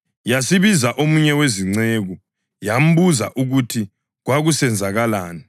Yasibiza omunye wezinceku yambuza ukuthi kwakusenzakalani.